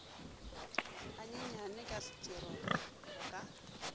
ganyenyane ka setero go ka